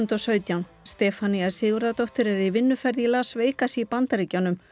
og sautján Stefanía Sigurðardóttir er í vinnuferð í Las Vegas í Bandaríkjunum